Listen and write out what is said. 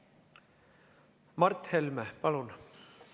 Mart Helme, palun!